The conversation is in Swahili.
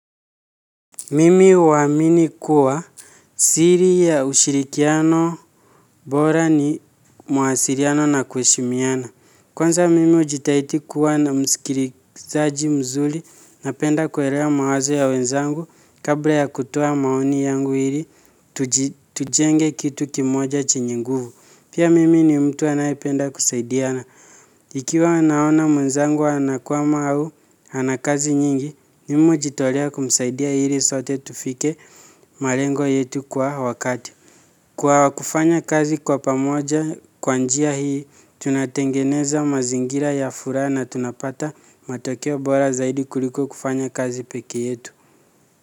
Mimi uamini kuwa siri ya ushirikiano bora ni mawasiliano na kuheshimiana. Kwanza mimi ujitahidi kuwa na msikilizaji mzuri, napenda kuelewa mawazo ya wenzangu kabla ya kutoa maoni yangu hili tujenge kitu kimoja chenye nguvu. Pia mimi ni mtu anayependa kusaidiana. Ikiwa naona mwenzangu anakwama au, ana kazi nyingi, mimi hujitolea kumsaidia ili sote tufike malengo yetu kwa wakati. Kwa kufanya kazi kwa pamoja, kwa njia hii, tunatengeneza mazingira ya furaha na tunapata matokeo bora zaidi kuliko kufanya kazi peke yetu.